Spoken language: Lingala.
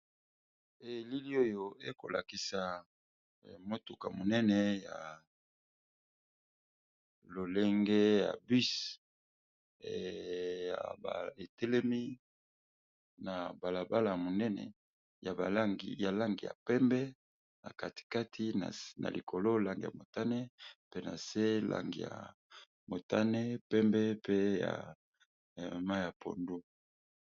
Elili oyo ekolakisa motuka monene ya lolenge ya bus ya baetelemi na balabala monene ya lange ya pembe na katikati na likolo lang ya motane mpena se lang ya motane pembe mpe ya ma ya pondo.